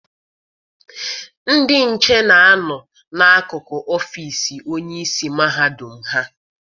Ndị nche na-a nọ n'akụkụ ọfịịsi onyeisi mahadum ha.